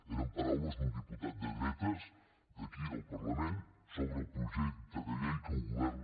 eren paraules d’un diputat de dretes d’aquí del parlament sobre el projecte de llei que el govern